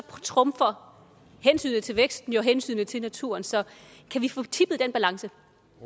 trumfer hensynet til væksten jo hensynet til naturen så kan vi få tippet den balance